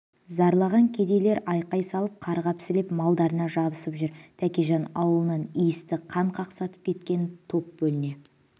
зарлаған кедейлер айқай салып қарғап-сілеп малдарына жабысып жүр тәкежан аулынан иісті қан қақсатып кеткен топ бөліне